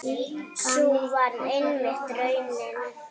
Sú varð einmitt raunin.